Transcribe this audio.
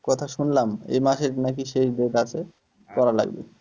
কথা শুনলাম এই মাসের নাকি শেষ date আছে করা লাগবে।